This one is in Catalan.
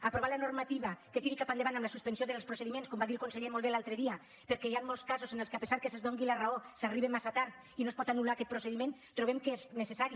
aprovar la normativa que tiri cap endavant la suspensió dels procediments com va dir el conseller molt bé l’altre dia perquè hi han molts casos en què a pesar que se’ls doni la raó s’arriba massa tard i no es pot anul·lar aquest procediment trobem que és necessari